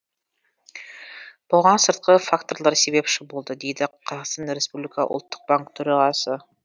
бұған сыртқы факторлар себепші болды дейді қазақстан республика ұлттық банк төрағасы